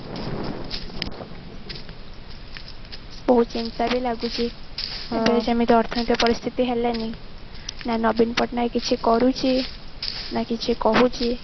ସେଇ ଚିନ୍ତା ବି ଲାଗୁଛି ଯେମିତି ଅର୍ଥନୈତିକ ପରିସ୍ଥିତି ହେଲାଣି ନା ନବୀନ ପଟ୍ଟନାୟକ କିଛି କରୁଛି ନା କିଛି କହୁଛି